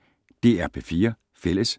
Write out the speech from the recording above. DR P4 Fælles